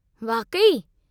वाक़ई!?